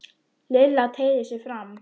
Lilla teygði sig fram.